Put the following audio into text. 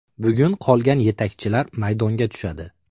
Bugun qolgan yetakchilar maydonga tushadi.